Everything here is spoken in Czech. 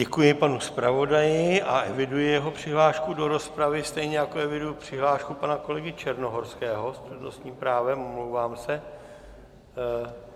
Děkuji panu zpravodaji a eviduji jeho přihlášku do rozpravy, stejně jako eviduji přihlášku pana kolegy Černohorského s přednostním právem, omlouvám se.